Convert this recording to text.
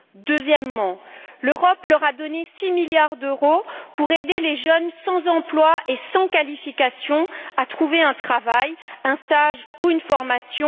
Deuxièmement, l'Europe leur a donné six milliards d'euros pour aider les jeunes sans emploi et sans qualification à trouver un travail, un stage ou une formation.